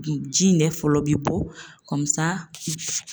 Ji in de fɔlɔ bi bɔ